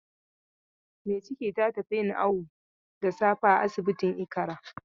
Mai ciki ta tafi yin awu da safe a asibitin Ikara.